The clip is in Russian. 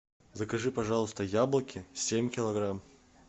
закажи пожалуйста яблоки семь килограмм